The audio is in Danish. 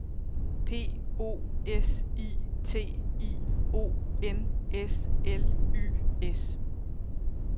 P O S I T I O N S L Y S